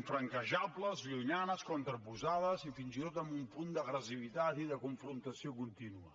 infranquejables llunyanes contraposades i fins i tot amb un punt d’agressivitat i de confrontació contínua